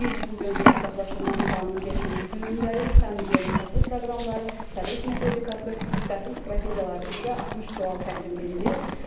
Və biz bu gün sertifikatlaşdırma imtahanının beşinci günündəyik, fənn üzrə ümumi təhsil proqramları, tədris metodikası, təhsil strategiyaları üzrə 60 sual təqdim edilir.